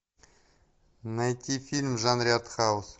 найти фильм в жанре артхаус